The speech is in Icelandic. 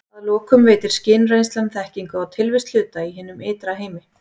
Að lokum veitir skynreynslan þekkingu á tilvist hluta í hinum ytra heimi.